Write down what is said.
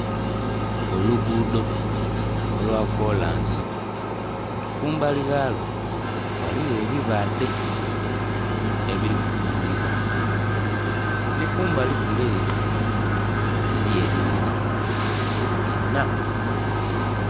Oluguudho olwakolansi kumbali ghalwo ghaligho ebibadhe ebiri kutundibwa, ni kumbali kule ere eriyo enhumba inna.